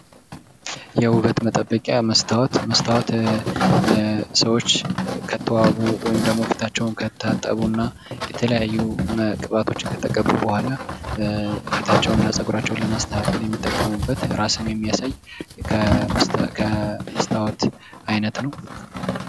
የውበት መጠበቂያ መስታወት፦ መስታዎት ሰዎች ከተዋቡ ወይም ፊታቸውን ከታጠቡና የተለያዩ ቅባቶችን ከተቀቡ በኋላ ፊታቸውና ፀጉራቸውን ለማስተካከል የሚጠቀሙበት እራስን የሚያሳይ ከመስታወት አይነት ነው።